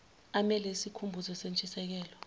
amele isikhumbuzo sentshisekelo